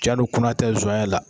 Cɛn don kunna tɛ zɔnyɛ la